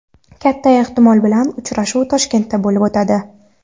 Katta ehtimol bilan uchrashuv Toshkentda bo‘lib o‘tadi.